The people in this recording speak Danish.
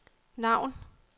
navn